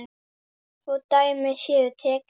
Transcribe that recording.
Svo dæmi séu tekin.